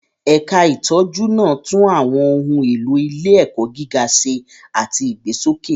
Ẹ̀ka ìtọ́jú náà tún àwọn ohun èlò ilé-ẹ̀kọ́ gíga ṣe àti ìgbésókè.